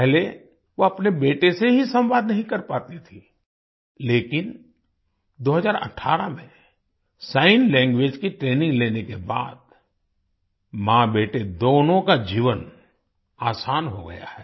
पहले वो अपने बेटे से ही संवाद नहीं कर पाती थीं लेकिन2018 में सिग्न लैंग्वेज की ट्रेनिंग लेने के बाद माँबेटे दोनों का जीवन आसान हो गया है